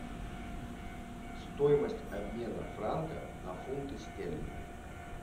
стоимость обмена франка на фунты стерлинги